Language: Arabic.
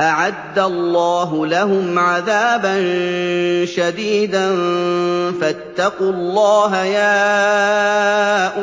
أَعَدَّ اللَّهُ لَهُمْ عَذَابًا شَدِيدًا ۖ فَاتَّقُوا اللَّهَ يَا